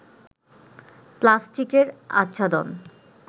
প্লাস্টিকের আচ্ছাদন